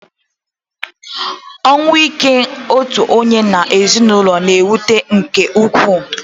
Ọnwụ ike otu onye n'ezinụlọ na-ewute nke ukwu